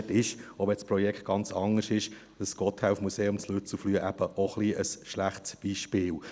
Dort ist – auch wenn das Projekt ganz anders ist – das Gotthelf-Museum in Lützelflüh eben auch ein wenig ein schlechtes Beispiel.